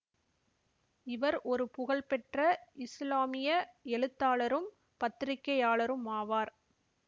இவர் ஒரு புகழ்பெற்ற இசுலாமிய எழுத்தாளரும் பத்திரிகையாளருமாவார்